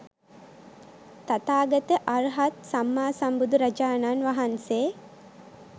තථාගත අර්හත් සම්මා සම්බුදුරජාණන් වහන්සේ